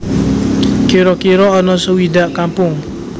Kira kira ana suwidak kampung